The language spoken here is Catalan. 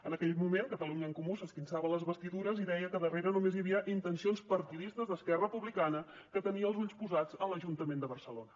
en aquell moment catalunya en comú s’esquinçava les vestidures i deia que darrere només hi havia intencions partidistes d’esquerra republicana que tenia els ulls posats en l’ajuntament de barcelona